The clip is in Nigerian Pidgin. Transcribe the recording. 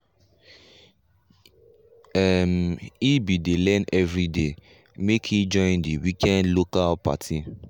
um he bin dey learn everyday make he join the weekend local party.